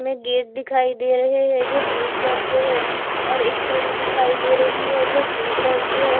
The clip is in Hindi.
में गेट दिखाई दे रहे हैं जो ब्लू कलर के है और एक सीढी दिखाई दे रही है जो ब्लू कलर की है।